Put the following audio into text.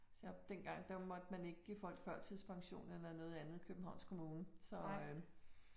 Selvom dengang der måtte man ikke give folk førtidspension eller noget andet i Københavns kommune så øh